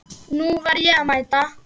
Nú var mér að mæta!